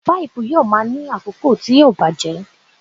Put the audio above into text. Páípù yóò máa ní àkókò tí yóò bàjẹ́.